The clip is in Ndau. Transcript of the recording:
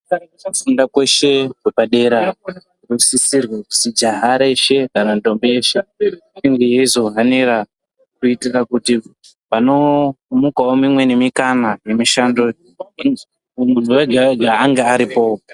Kufunda kweshe kwepadera kunosisirwe kuti Java reshe kana ndombi yeshe inge yeizohanira kuitira kuti panomukawo mimweni mikana yemishando munhu wega wega ange aripowo .